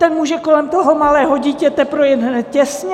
Ten může kolem toho malého dítěte projet hned těsně?